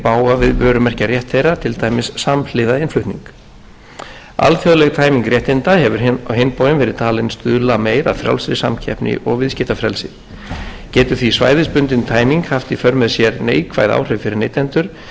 og koma í veg fyrir notkun sem fer í bága við vörumerkjarétt þeirra til dæmis samhliða innflutning alþjóðleg tæming réttinda hefur á hinn bóginn verið talin stuðla meir að frjálsri samkeppni og viðskiptafrelsi getur því svæðisbundin tæming haft í för með sér neikvæð áhrif fyrir neytendur